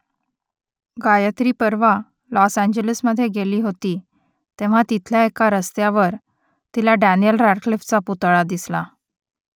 गायत्री परवा लॉस एंजेल्समध्ये गेली होती तेव्हा तिथल्या एका रस्त्यावर तिला डॅनियेल रॅडक्लिफचा पुतळा दिसला